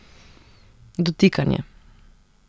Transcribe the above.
Dotikanje.